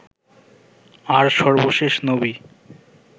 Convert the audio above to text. আর সর্বশেষ নবী